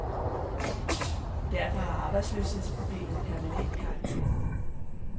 Derfor har arbejdsløshedsproblemet permanent karakter.